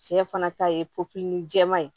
Cɛ fana ta ye popili jɛman ye